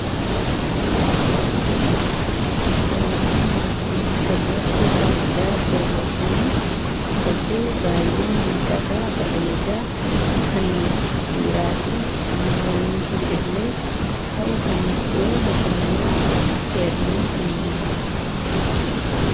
Suuraan nuti asirratti argaa jirru kuni kophee baay'ee miidhagaa bareedaa kan dhiiraa fi shamarraniifis illee ta'u kan iddoo bashannanaa kee'atamee deemamu.